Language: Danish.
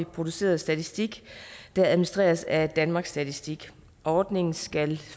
produceret statistik der administreres af danmarks statistik ordningen skal